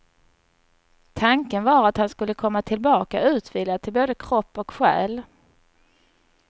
Tanken var att han skulle komma tillbaka utvilad till både kropp och själ.